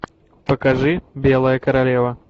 покажи белая королева